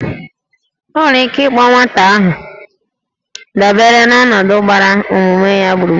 E nwere ike ịkpọ nwata aha dabere n'ọnọdụ gbara ọmụmụ ya gburugburu